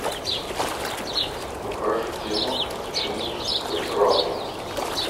покажи кино к чему то прекрасному